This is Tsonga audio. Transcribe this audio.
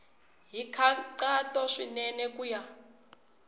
hi nkhaqato swinene ku ya